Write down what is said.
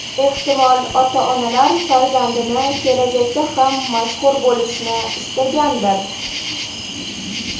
Ehtimol, ota-onalar farzandini kelajakda ham mashhur bo‘lishini istagandir.